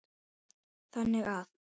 þannig að